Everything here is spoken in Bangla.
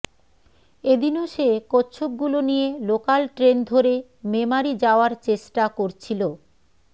এদিনও সে কচ্ছপগুলো নিয়ে লোকাল ট্রেন ধরে মেমারী যাওয়ার চেষ্টা করছিল